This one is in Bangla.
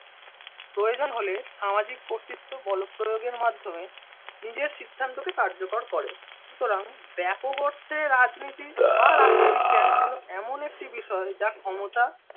প্রয়োজন হলে সামাজিক কর্তৃত্ব বল প্রয়োগের মাধ্যমে নিজের সিদ্ধান্তকে কার্যকর করে সুতরাং ব্যাপক অর্থে রাজনীতি বা রাষ্ট্রবিজ্ঞান হল এমন একটি বিষয় যা ক্ষমতা